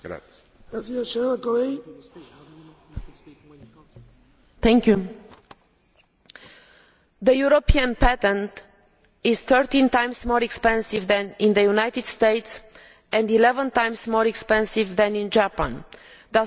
Mr President, the European patent is 13 times more expensive than in the United States and 11 times more expensive than in Japan, thus suffering from lower productivity and development.